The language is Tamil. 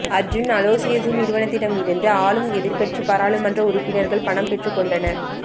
அர்ஜூன் அலோசியஸின் நிறுவனத்திடமிருந்து ஆளும் எதிர்க்கட்சி பாராளுமன்ற உறுப்பினர்கள் பணம் பெற்றுக்கொண்டனர்